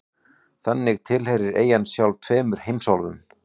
Þannig tilheyrir eyjan sjálf tveimur heimsálfum.